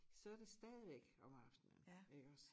Så det stadigvæk om aftenen iggås